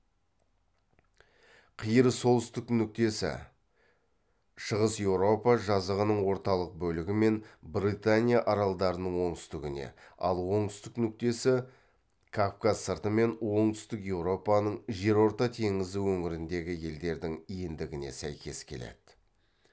қиыр солтүстік нүктесі шығыс еуропа жазығының орталық бөлігі мен британия аралдарының оңтүстігіне ал оңтүстік нүктесі кавказ сырты мен оңтүстік еуропаның жерорта теңізі өңіріндегі елдердің ендігіне сәйкес келеді